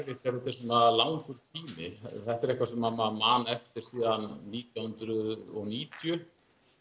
svona langur tími þetta er eitthvað sem maður man eftir síðan nítján hundruð og níutíu